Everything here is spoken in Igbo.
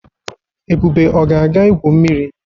Ebube ọ ga-aga igwu mmiri?